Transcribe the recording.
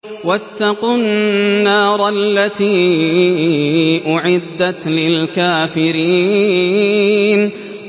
وَاتَّقُوا النَّارَ الَّتِي أُعِدَّتْ لِلْكَافِرِينَ